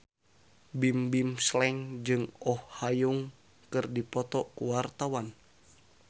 Bimbim Slank jeung Oh Ha Young keur dipoto ku wartawan